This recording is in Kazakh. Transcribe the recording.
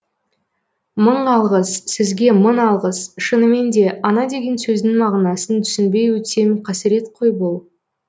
мың алғыс сізге мың алғыс шынымен де ана деген сөздің мағынасын түсінбей өтсем қасірет қой бұл